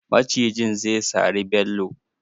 Macijin zai sari Bello.